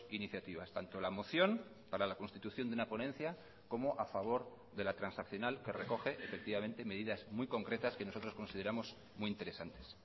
iniciativas tanto la moción para la constitución de una ponencia como a favor de la transaccional que recoge efectivamente medidas muy concretas que nosotros consideramos muy interesantes